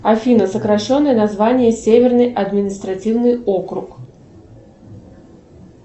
афина сокращенное название северный административный округ